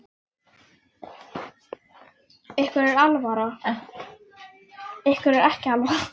Ykkur er ekki alvara!